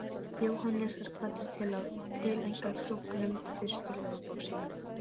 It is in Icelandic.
Jóhannes er hvattur til að tileinka klúbbnum fyrstu ljóðabók sína.